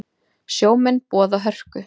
Sjómenn boða hörku